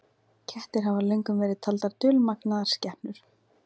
Kettir hafa löngum verið taldar dulmagnaðar skepnur.